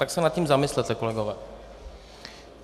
Tak se nad tím zamyslete, kolegové.